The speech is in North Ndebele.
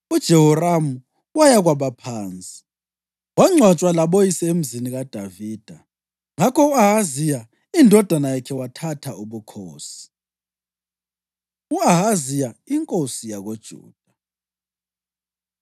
UJehoramu waya kwabaphansi, wangcwatshwa laboyise eMzini kaDavida. Ngakho u-Ahaziya indodana yakhe wathatha ubukhosi. U-Ahaziya Inkosi YakoJuda